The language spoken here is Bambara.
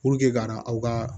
Puruke ka na aw ka